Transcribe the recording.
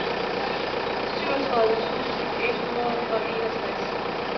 syvogtredive tusind et hundrede og enogtres